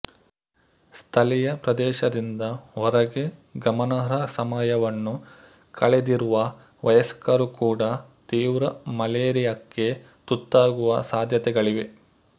ಸ್ಥಳೀಯ ಪ್ರದೇಶದಿಂದ ಹೊರಗೆ ಗಮನಾರ್ಹ ಸಮಯವನ್ನು ಕಳೆದಿರುವ ವಯಸ್ಕರು ಕೂಡ ತೀವ್ರ ಮಲೇರಿಯಾಕ್ಕೆ ತುತ್ತಾಗುವ ಸಾಧ್ಯತೆಗಳಿವೆ